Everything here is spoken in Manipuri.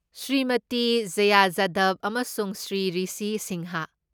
ꯁ꯭ꯔꯤꯃꯇꯤ ꯖꯌꯥ ꯖꯥꯙꯕ ꯑꯃꯁꯨꯡ ꯁ꯭ꯔꯤ ꯔꯤꯁꯤ ꯁꯤꯡꯍꯥ